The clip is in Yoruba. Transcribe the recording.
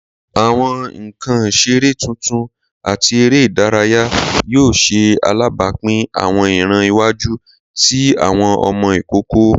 Awọn nkan isere tuntun ati ere idaraya yoo ṣe alabapin awọn iran iwaju ti awọn ọmọ ikoko